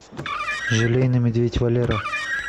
желейный медведь валера